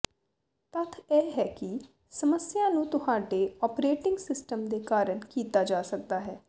ਤੱਥ ਇਹ ਹੈ ਕਿ ਸਮੱਸਿਆ ਨੂੰ ਤੁਹਾਡੇ ਓਪਰੇਟਿੰਗ ਸਿਸਟਮ ਦੇ ਕਾਰਨ ਕੀਤਾ ਜਾ ਸਕਦਾ ਹੈ